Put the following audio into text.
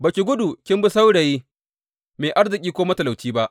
Ba ki gudu kin bi saurayi, mai arziki ko matalauci ba.